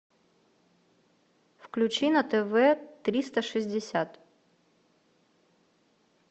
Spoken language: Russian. включи на тв триста шестьдесят